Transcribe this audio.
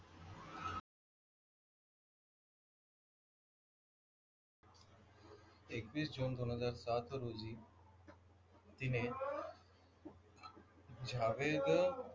एकवीस जून दोन हजार सात रोजी तिने जावेद,